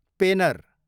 पेनर